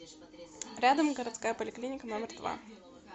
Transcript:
рядом городская поликлиника номер два